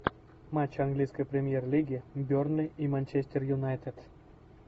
матч английской премьер лиги бернли и манчестер юнайтед